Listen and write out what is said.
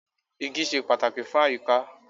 Igi ṣe pàtàkì fún àyíká.